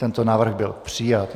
Tento návrh byl přijat.